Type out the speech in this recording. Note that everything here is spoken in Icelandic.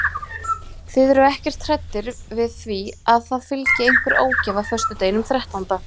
Þið eruð ekkert hræddir við því að það fylgi einhver ógæfa föstudeginum þrettánda?